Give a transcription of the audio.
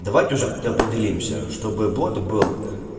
давайте уже как-то определимся чтобы бот был